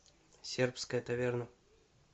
сербская таверна